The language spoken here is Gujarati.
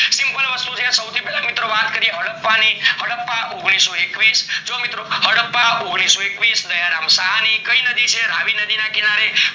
simple વસ્તુ છે મિત્રો સૌથી પેલા વાત કરીએ હદ્દાપા ની હદ્દાપા ઓગ્નિસોએક્વિશ જો મિત્રો હદ્દાપા ઓગ્નિસોએક્વિશ દયારામ શાહની કઈ નદીના કિનારે છે રાવી નદી ના કિનારે